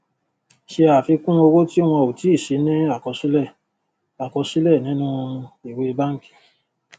ṣe àfikún owó tí wọn ò tí sí ní àkọsílẹ àkọsílẹ nínú ìwé bánkì